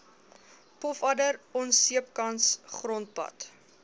pofadder onseepkans grondpad